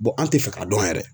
an tɛ fɛ k'a dɔn yɛrɛ.